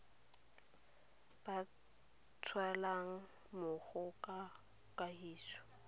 ba tshelang mmogo ka kagiso